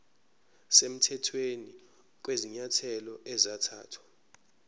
semthethweni kwezinyathelo ezathathwa